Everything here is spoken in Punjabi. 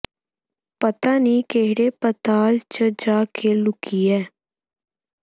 ਪਤਾ ਨੀ ਕਿਹੜੇ ਪਤਾਲ ਚ ਜਾ ਕੇ ਲੁਕੀ ਐ